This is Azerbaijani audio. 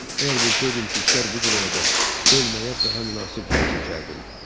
Əgər bilsəydim ki, işlər bu cür olacaq, ölməyə daha münasib yer seçərdim.